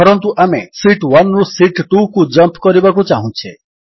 ଧରନ୍ତୁ ଆମେ ଶୀତ୍ 1 ରୁ ଶୀତ୍ 2କୁ ଜମ୍ପ ଚାହୁଁଛେ